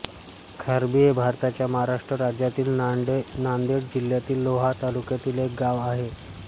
खारबी हे भारताच्या महाराष्ट्र राज्यातील नांदेड जिल्ह्यातील लोहा तालुक्यातील एक गाव आहे